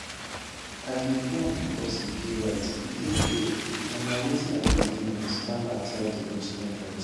i dey do am becos e dey right e dey fair and na wetin i believe in starmer tell di news conference